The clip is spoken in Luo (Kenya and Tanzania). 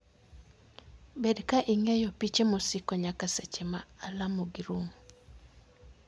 Bed ka ing'iyo piche mosiko nyaka seche ma alamogi rum.